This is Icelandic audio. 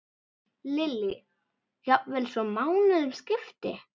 Lillý: Jafnvel svo mánuðum skipti?